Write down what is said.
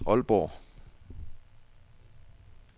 Aalborg